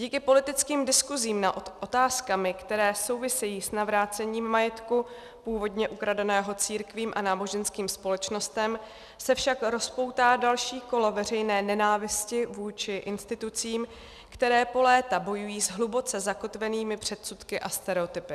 Díky politickým diskusím nad otázkami, které souvisejí s navrácením majetku původně ukradeného církvím a náboženským společnostem, se však rozpoutá další kolo veřejné nenávisti vůči institucím, které po léta bojují s hluboce zakotvenými předsudky a stereotypy.